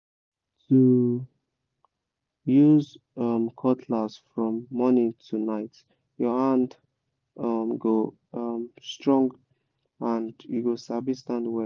to use um cutlass from morning to night your hand um go um strong and you go sabi stand well